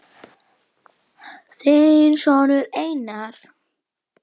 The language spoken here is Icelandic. Þinn sonur Einar.